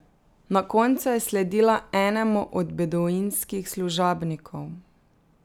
Na koncu je sledila enemu od beduinskih služabnikov.